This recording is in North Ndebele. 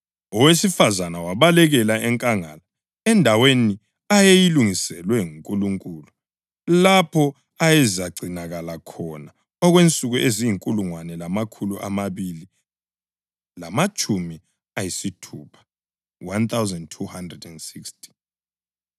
Owesifazane wabalekela enkangala endaweni ayeyilungiselwe nguNkulunkulu lapho ayezagcinakala khona okwensuku eziyinkulungwane lamakhulu amabili lamatshumi ayisithupha (1,260).